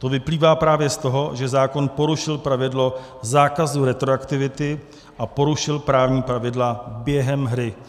To vyplývá právě z toho, že zákon porušil pravidlo zákazu retroaktivity a porušil právní pravidla během hry.